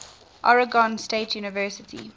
oregon state university